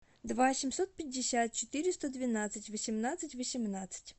два семьсот пятьдесят четыреста двенадцать восемнадцать восемнадцать